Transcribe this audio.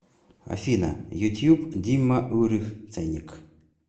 афина ютуб димма урих ценник